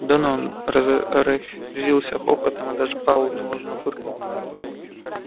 донован разразился хохотом и даже пауэлл невольно фыркнул